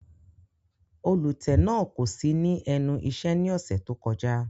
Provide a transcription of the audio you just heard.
Olutẹ náa ko si ni ẹnu iṣẹ ni ọsẹ to kọja.